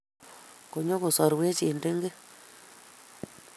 Konyo kosoruech eng tengek